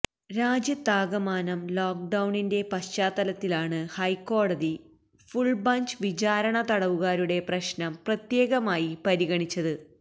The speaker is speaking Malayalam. രാജ്യത്താകമാനം ലോക്ക്ഡൌണിന്റെ പശ്ചാത്തലത്തിലാണ് ഹൈക്കോടതി ഫുള് ബൈഞ്ച് വിചാരണ തടവുകാരുടെ പ്രശ്നം പ്രത്യേകമായി പരിഗണിച്ചത്